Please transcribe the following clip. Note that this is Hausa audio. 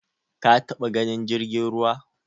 Ka taba ganin jirgin ruwa?